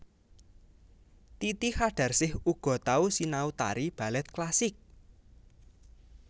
Titi Qadarsih uga tau sinau tari balèt klasik